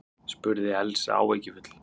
spurði Elsa áhyggjufull.